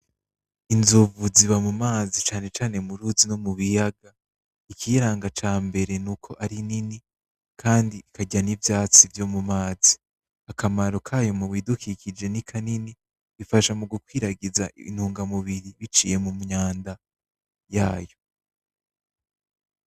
Inzomvu ziba mumazi cane cane m'uruzi no mubiyaga, ikiyaranga cambere n'uko ari nini kandi ikarya n'ivyatsi vyo mumazi, akamaro kayo mubidukikije nikanini ifasha mu gukwiragiza intungamubiri bicaye mumyanda yayo.